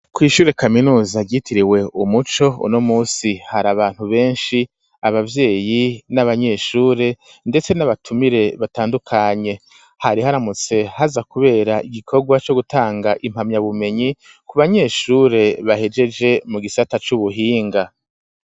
Kw'shure kaminuza ryitiriwe umuco uno musi harabantu beshi abavyeyi n'abanyeshure ndetse n'abatumire batandukanye hari haramutse haza kubera igikorwa co gutanga impamya bumenyi ku banyeshure bahejeje mu gisata c'ubuhinga.